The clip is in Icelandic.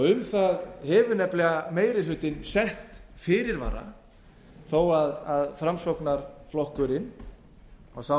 um það hefur nefnilega meiri hlutinn sett fyrirvara þó að framsóknarflokkurinn og sá